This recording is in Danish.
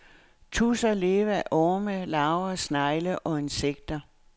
Tudser lever af orme, larver, snegle og insekter.